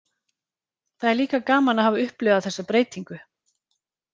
Það er líka gaman að hafa upplifað þessa breytingu.